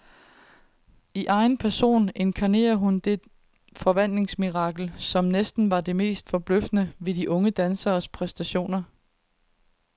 I egen person inkarnerer hun det forvandlingsmirakel, som næsten var det mest forbløffende ved de unge danseres præstationer.